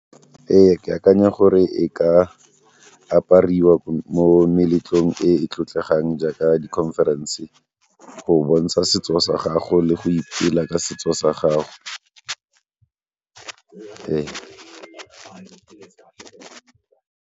Ee, ke akanya gore e ka apariwa mo meletlong e e tlotlegang jaaka di-conference go bontsha setso sa gago le go ipela ka setso sa gago .